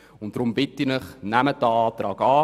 Deshalb bitte ich Sie, unseren Antrag anzunehmen.